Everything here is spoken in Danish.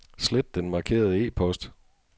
Slet den markerede e-post.